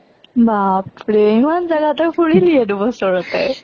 বাৰ ৰে, ইমান জাগা তই ফুৰিলিয়ে দু বছৰতে।